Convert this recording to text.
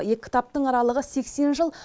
екі кітаптың аралығы сексен жыл